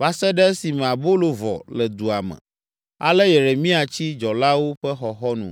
va se ɖe esime abolo vɔ le dua me. Ale Yeremia tsi dzɔlawo ƒe xɔxɔnu.